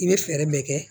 I bɛ fɛɛrɛ bɛɛ kɛ